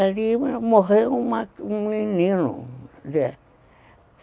Ali morreu um um menino